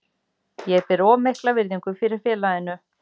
Ég ber of mikla virðingu fyrir félaginu.